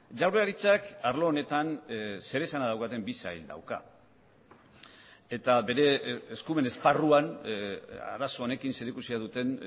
jaurlaritzak arlo honetan zeresana daukaten bi sail dauka eta bere eskumen esparruan arazo honekin zerikusia duten